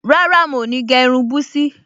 Rárá, mo ní gẹ́ irun búsí